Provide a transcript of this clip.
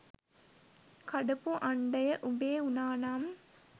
කඩපු අන්ඩය උඹේ උනානම්